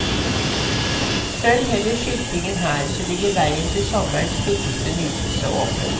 Følg heller skiltingen her, så ligger veien til sommerens kvikkeste nytelse åpen.